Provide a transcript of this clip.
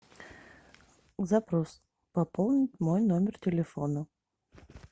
запрос пополнить мой номер телефона